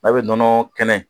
A bɛ nɔnɔ kɛnɛ